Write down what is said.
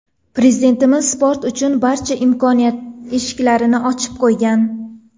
Prezidentimiz sport uchun barcha imkoniyat eshiklarini ochib qo‘ygan.